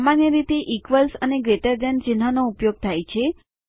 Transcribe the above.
સામાન્ય રીતે ઇક્વ્લ્સ અને ગ્રેટર ધેન ચિહ્નનો ઉપયોગ થાય છે